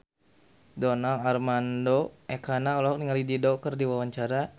Donar Armando Ekana olohok ningali Dido keur diwawancara